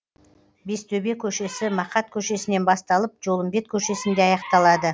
бестөбе көшесі мақат көшесінен басталып жолымбет көшесінде аяқталады